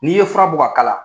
N'i ye fura bɔ ka k'a la.